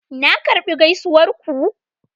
Na karbi gaisuwar ku.